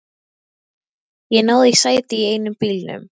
Ég náði í sæti í einum bílnum.